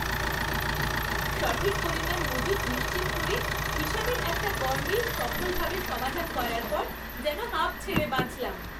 সঠিক পরিমাণ মজুত নিশ্চিত করে, হিসেবের একটা গরমিল সফলভাবে সমাধান করার পর যেন হাঁফ ছেড়ে বাঁচলাম।